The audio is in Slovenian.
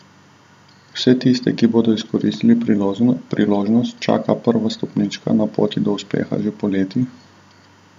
Vse tiste, ki bodo izkoristili priložnost, čaka prva stopnička na poti do uspeha že poleti!